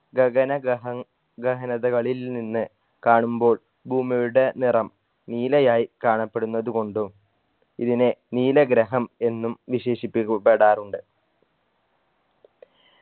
ഗഗന ഗഹ ഗഹനതകളിൽ നിന്ന് കാണുമ്പോൾ ഭൂമിയുടെ നിറം നീലയായ് കാണപ്പെടുന്നത് കൊണ്ടും ഇതിനെ നീല ഗ്രഹം എന്നും വിശേഷിപ്പിക്കപ്പെടാറുണ്ട്